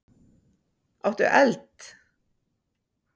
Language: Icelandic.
Áttu eld?